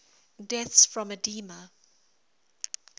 deaths from edema